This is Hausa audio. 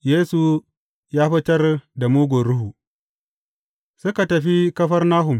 Yesu ya fitar da mugun ruhu Suka tafi Kafarnahum.